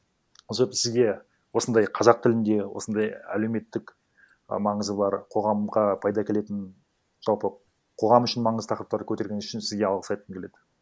сізге осындай қазақ тілінде осындай әлеуметтік і маңызы бар қоғамға пайда әкелетін жалпы қоғам үшін маңызды тақырыптарды көтерген үшін сізге алғыс айтқым келеді